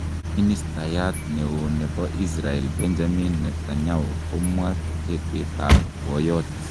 Ministayat ne o ne bo Israel Benjamin Netanyau komwa tetetab boyot.